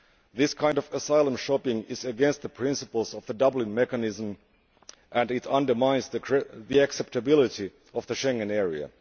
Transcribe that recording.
This kind of asylum shopping is against the principles of the Dublin mechanism and it undermines the acceptability of the Schengen area.